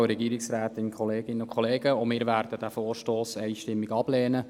Auch die glp-Fraktion wird den Vorstoss einstimmig ablehnen.